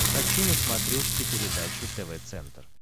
хочу на смотрешке передачу тв центр